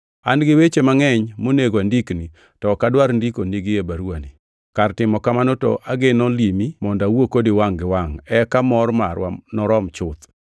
An gi weche mangʼeny monego andikni, to ok adwar ndikonigi e baruwani. Kar timo kamano to ageno limi mondo awuo kodi wangʼ gi wangʼ eka mor marwa norom chuth.